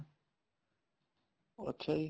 ਅੱਛਿਆ ਜੀ